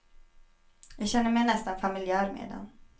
Jag känner mig nästan familjär med den.